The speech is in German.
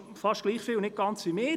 Das wünsche ich Ihnen auch.